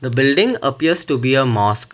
building appears to be a mosque.